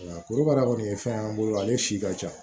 Korokara kɔni ye fɛn y'an bolo ale si ka ca